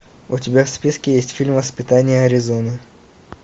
у тебя в списке есть фильм воспитание аризоны